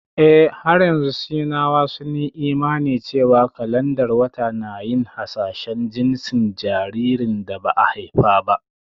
Eh, har yanzu Sinawa sun yi imani cewa kalandar wata na yin hasashen jinsin jaririn da ba a haifa ba